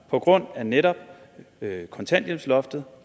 på grund af netop kontanthjælpsloftet